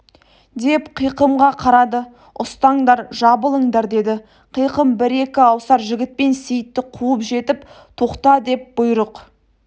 деп қиқымға қарады ұстаңдар жабылыңдар деді қиқым бір-екі аусар жігітпен сейітті қуып жетіп тоқта деп бұйрық